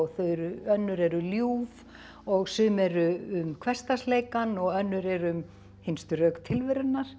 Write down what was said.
önnur eru ljúf og sum eru um hversdagsleikann og önnur eru um hinstu rök tilverunnar